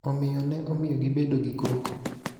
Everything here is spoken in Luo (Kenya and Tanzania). omiyo, ne omiyo gibedo gi koko.